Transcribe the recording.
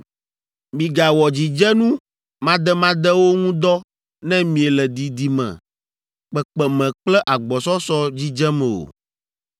“ ‘Migawɔ dzidzenu mademadewo ŋu dɔ ne miele didime, kpekpeme kple agbɔsɔsɔ dzidzem o.